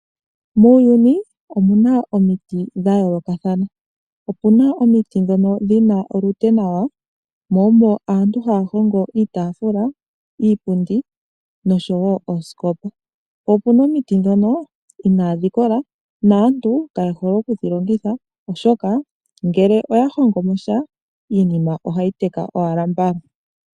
Muuyuni omuna omiti dha yoolokathana, opuna omiti dhono dhina olupe nawa mo omo aantu haya hongo iitaafula, iipundi nosho wo oosikopa. Po opuna omiti dhono inaadhi kola naantu kaye hole oku dhi longitha, oshoka ngele oya hongomo sha iinima oha yi teka owala mbala.